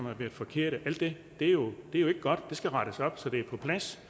har været forkerte er jo ikke godt og det skal rettes op så det er på plads